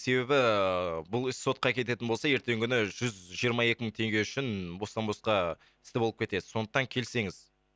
себебі ііі бұл іс сотқа кететін болса ертеңгі күні жүз жиырма екі мың теңге үшін бостан босқа істі болып кетесіз сондықтан келсеңіз